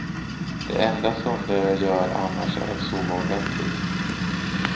Det enda sunda jag gör annars är att sova ordentligt.